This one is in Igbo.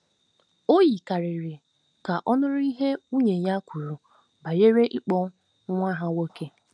O yikarịrị ka ọ̀ nụrụ ihe nwunye ya kwuru banyere ịkpọ nwa ha nwoke.